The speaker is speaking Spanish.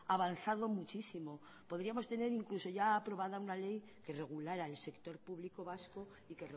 avanzado muchísimo podríamos tener incluso ya aprobada una ley que regulara el sector público vasco y